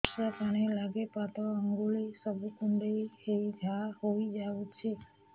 ବର୍ଷା ପାଣି ଲାଗି ପାଦ ଅଙ୍ଗୁଳି ସବୁ କୁଣ୍ଡେଇ ହେଇ ଘା ହୋଇଯାଉଛି